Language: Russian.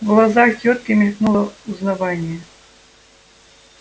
в глазах тётки мелькнуло узнавание